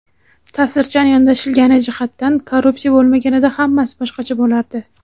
taʼsirchan yondashilgani jihatdan "Korrupsiya bo‘lmaganida hammasi boshqacha bo‘lardi!"